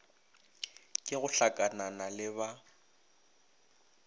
ke go hlakanana le ba